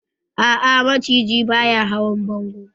A'a, maciji ba ya hawan bongo.